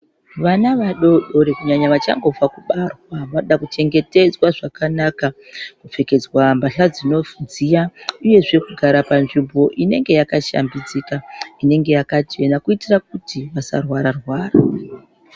Vana vadoodori kunyanya vachangobva kubarwa vanoda kuchengetedzwa zvakanaka kupfekedzwa mbahla dzinodziya uyezve kugara panzvimbo inenge yakashambidzika inenge yakachena kuitira kuti vasarwara rwara.